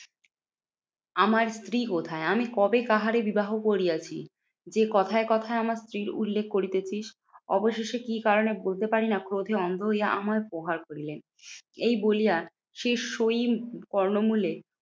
আমার স্ত্রী কোথায়? আমি কবে কাহারে বিবাহ করিয়াছি? যে কোথায় কোথায় আমার স্ত্রীর উল্লেখ করিতেছিস। অবশেষে কি কারণে বলতে পারি না? ক্রোধে অন্ধ হইয়া আমায় প্রহার করিলেন। এই বলিয়া সে